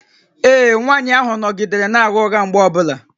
Ee, nwanyị ahụ nọgidere na-agha ụgha mgbe ọ bụla